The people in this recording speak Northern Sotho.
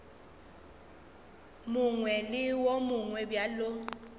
mongwe le wo mongwe bjalo